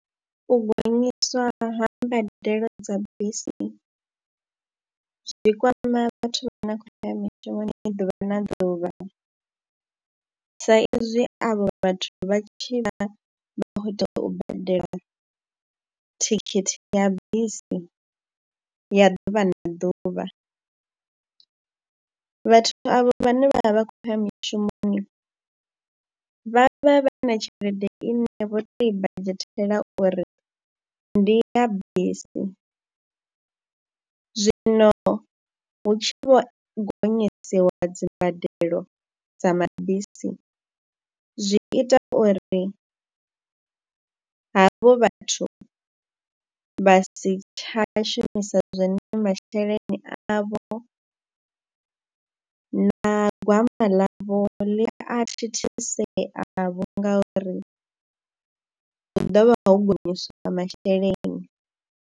U gonyiswa ha mbadelo dza bisi zwi kwama vhathu vha na khou ya mishumoni ni ḓuvha na ḓuvha, sa ezwi avho vhathu vha tshi vha vha khou tea u badela thikhithi ya bisi ya ḓuvha na ḓuvha. Vhathu avho vhane vha vha vha khou ya mishumoni vha vha vha na tshelede ine vho tou i badzhetela uri ndi ya bisi, zwino hu tshi vho gonyisiwa dzimbadelo dza mabisi zwi ita uri havho vhathu vha si tsha shumisa zwone masheleni avho na gwama ḽavho ḽi a thithisea vhunga uri hu ḓo vha ho gonyiswa nga masheleni.